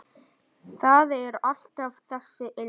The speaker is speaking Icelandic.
Það er alltaf þessi ilmur.